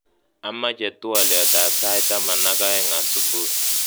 Ameche twoliotab sait taman ak oeng asubui